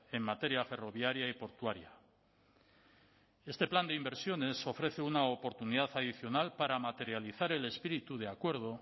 en materia ferroviaria y portuaria este plan de inversiones ofrece una oportunidad adicional para materializar el espíritu de acuerdo